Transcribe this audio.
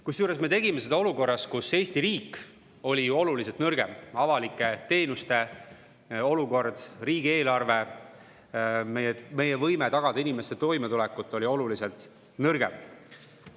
Kusjuures me tegime seda olukorras, kus Eesti riik oli oluliselt nõrgem, avalike teenuste olukord, riigieelarve, meie võime tagada inimeste toimetulekut olid oluliselt nõrgemad.